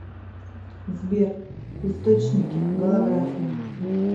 сбер источники голография